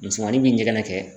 Musomanin bi nɛgɛnɛ kɛ